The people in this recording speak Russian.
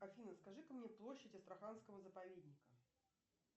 афина скажи ка мне площадь астраханского заповедника